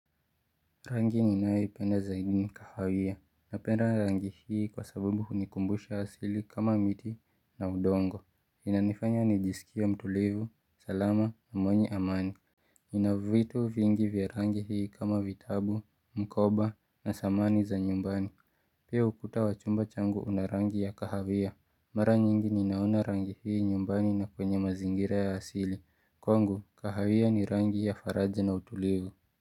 Rangi ninawe penda zaidi ni kahawiya. Napenda rangi hii kwa sabubu hunikumbusha asili kama miti na udongo. Ina nifanya nijisikia mtulivu, salama na mwenye amani. Nina vitu vingi vya rangi hii kama vitabu, mkoba na samani za nyumbani. Pia ukuta wachumba changu una rangi ya kahawiya. Mara nyingi ninaona rangi hii nyumbani na kwenye mazingira ya asili. Kwa ngu, kahawiya ni rangi ya faraja na utulivu.